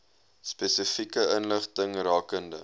spesifieke inligting rakende